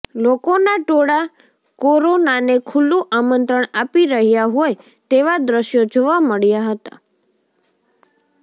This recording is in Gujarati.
લોકોના ટોળા કોરોનાને ખુલ્લું આમંત્રણ આપી રહ્યા હોય તેવા દ્રશ્યો જોવા મળ્યા હતા